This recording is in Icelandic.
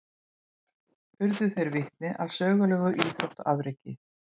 Urðu þeir vitni að sögulegu íþróttaafreki